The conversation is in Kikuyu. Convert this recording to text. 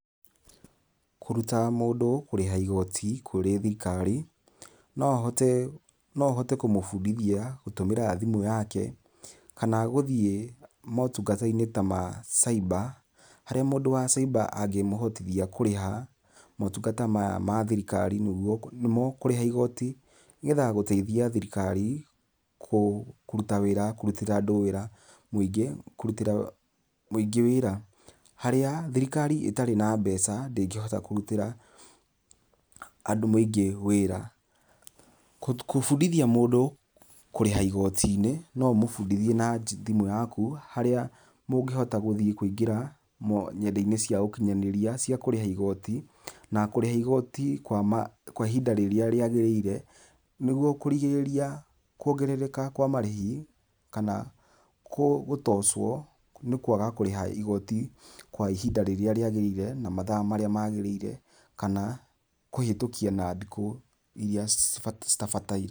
Kũruta mũndũ kũrĩha igoti kũrĩ thirikari no hote no hote kũmũbundithia gũtũmĩra thimũ yake kana gũthiĩ motungata-inĩ ta ma caiba, harĩa mũndũ wa caiba angĩmũhotithia kũrĩha motungata maya mathirikari nĩ mo kũrĩha igoti nĩgetha gũteithia thirikari kũruta wĩra kũrutĩra andũ wĩra muingĩ kũrutĩra mũingĩ wĩra, harĩa thirikari ĩtarĩ na mbeca ndĩngĩhota kũrutĩra andũ mũingĩ wĩra. Kũbundĩthia mũndũ kũriha igoti-inĩ no ũmũbundithie na thimu yaku harĩa mũngĩhota gũthiĩ kũingĩra nenda-inĩ cia ũkinyanĩria cia kũrĩha igoti. Na kũriha igoti kwa ihinda rĩrĩa rĩagĩrĩire nĩgũo kũrigĩrĩria kuongerereka kwa marĩhi kana gũtocwo nĩ kwaga kũriha igoti kwa ihinda rĩrĩa rĩagĩrĩire na mathaa marĩa magĩrĩire kana kũhĩtũkia na thikũ irĩa citabataire.